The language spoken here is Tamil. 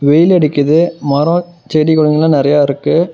வெயில் அடிக்குது மரம் செடிகளெல்லாம் நறைய இருக்கு.